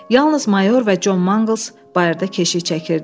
Yalnız mayor və Con Mangls bayırda keşiy çəkirdilər.